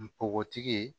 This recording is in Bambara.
Npogotigi ye